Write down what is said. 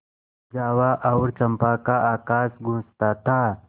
जावा और चंपा का आकाश गँूजता था